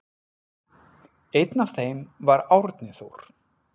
Einn af þeim var Árni Þór.